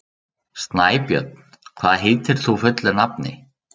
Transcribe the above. Snæbjörn, hvað heitir þú fullu nafni?